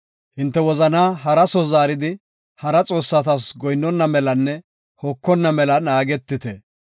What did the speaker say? Hinte wozanaa hara soo zaaridi, hara xoossata goyinnona melanne hokonna mela naagetite.